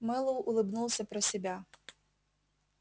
мэллоу улыбнулся про себя